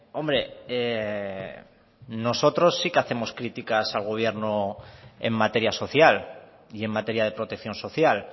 hombre nosotros sí que hacemos críticas al gobierno en materia social y en materia de protección social